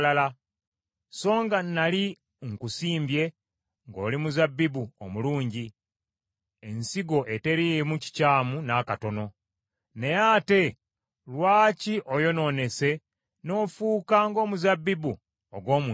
Songa nnali nkusimbye ng’oli muzabbibu omulungi, ensigo eteriimu kikyamu n’akatono, naye ate lwaki oyonoonese n’ofuuka ng’omuzabbibu ogw’omu nsiko?